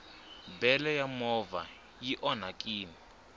bele ya movha i onhakini